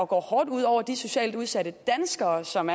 går hårdt ud over de socialt udsatte danskere som